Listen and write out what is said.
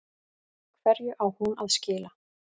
Hverju á hún að skila?